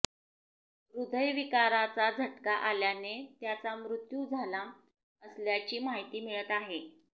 हृदयविकाराचा झटका आल्याने त्याचा मृत्यू झाला असल्याची माहिती मिळत आहे